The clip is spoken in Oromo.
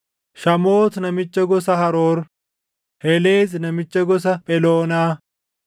Shamoot namicha gosa Haroor, Heleez namicha gosa Pheloonaa,